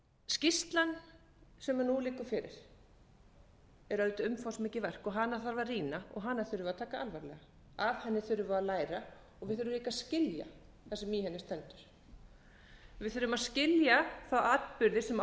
skýrslan sem nú liggur fyrir er auðvitað umfangsmikið verk og hana þarf að rýna og hana þurfum við að taka alvarlega af henni þurfum við að læra og við þurfum líka að skilja það sem í henni stendur við þurfum að skilja þá atburði sem